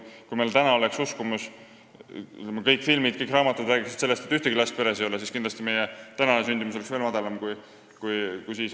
Kui meil oleks uskumus – kõik filmid ja raamatud räägiksid sellest –, et peres ei ole ühtegi last, siis oleks meie sündimus kindlasti veel madalam, kui see praegu on.